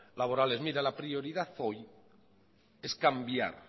laborales mire la prioridad hoy es cambiar